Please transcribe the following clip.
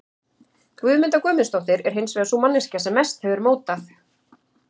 Guðmunda Guðmundsdóttir, er hins vegar sú manneskja sem mest hefur mótað